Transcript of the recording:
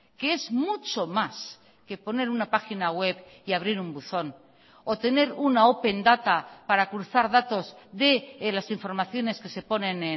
que es mucho más que poner una página web y abrir un buzón o tener una open data para cruzar datos de las informaciones que se ponen